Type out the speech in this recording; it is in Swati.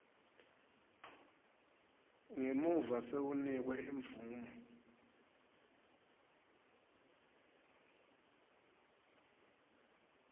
ngemuva sewunikwe imvumo